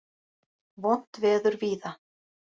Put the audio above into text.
Vont veður víða